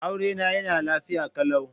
Aurena yana lafiya kalau.